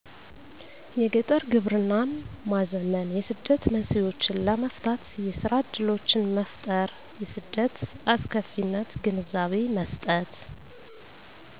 የገጠር ግብርናን ማዘመን የስደት መንስኤዎችን ለመፍታት የስራ እድሎችን መፍጠር የስደት አስከፊነት ግንዛቤ መስጠት